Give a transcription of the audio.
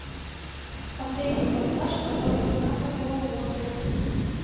последний форсаж в котором снялся пол уокер